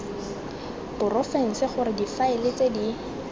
porofense gore difaele tse di